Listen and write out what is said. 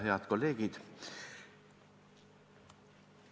Head kolleegid!